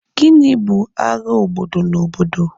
Gịnị bụ agha obodo na obodo?